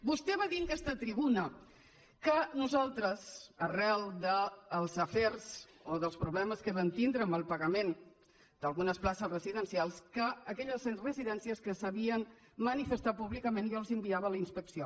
vostè va dir en aquesta tribuna que nosaltres arran dels afers o dels problemes que vam tindre amb el pagament d’algunes places residencials que a aquelles residències que s’havien manifestat públicament jo els enviava la inspecció